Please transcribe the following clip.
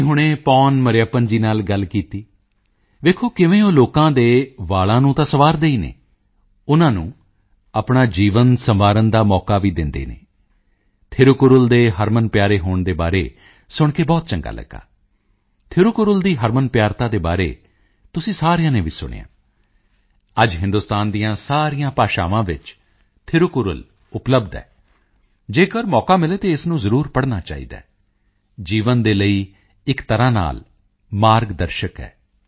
ਅਸੀਂ ਹੁਣੇ ਪੋਨ ਮਰਿਯੱਪਨ ਜੀ ਨਾਲ ਗੱਲ ਕੀਤੀ ਵੇਖੋ ਕਿਵੇਂ ਉਹ ਲੋਕਾਂ ਦੇ ਵਾਲਾਂ ਨੂੰ ਤਾਂ ਸੰਵਾਰਦੇ ਹੀ ਹਨ ਉਨ੍ਹਾਂ ਨੂੰ ਆਪਣਾ ਜੀਵਨ ਸੰਵਾਰਨ ਦਾ ਮੌਕਾ ਵੀ ਦਿੰਦੇ ਹਨ ਥਿਰੁਕੁਰਲ ਦੇ ਹਰਮਨਪਿਆਰੇ ਹੋਣ ਦੇ ਬਾਰੇ ਸੁਣ ਕੇ ਬਹੁਤ ਚੰਗਾ ਲੱਗਾ ਥਿਰੁਕੁਰਲ ਦੀ ਹਰਮਨਪਿਆਰਤਾ ਦੇ ਬਾਰੇ ਤੁਸੀਂ ਸਾਰਿਆਂ ਨੇ ਵੀ ਸੁਣਿਆ ਅੱਜ ਹਿੰਦੁਸਤਾਨ ਦੀਆਂ ਸਾਰੀਆਂ ਭਾਸ਼ਾਵਾਂ ਵਿੱਚ ਥਿਰੁਕੁਰਲ ਉਪਲੱਬਧ ਹੈ ਜੇਕਰ ਮੌਕਾ ਮਿਲੇ ਤਾਂ ਇਸ ਨੂੰ ਜ਼ਰੂਰ ਪੜ੍ਹਨਾ ਚਾਹੀਦਾ ਹੈ ਜੀਵਨ ਦੇ ਲਈ ਇੱਕ ਤਰ੍ਹਾਂ ਨਾਲ ਮਾਰਗ ਦਰਸ਼ਕ ਹੈ